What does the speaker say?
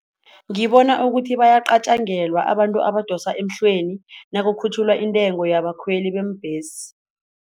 Ngibona ukuthi bayacatjangelwa abantu abadosa emhlweni nakukhutjhulwa intengo yabakhweli beembhesi.